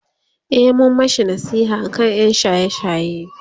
e mun mashi nasiha aka ƴan shaye shaye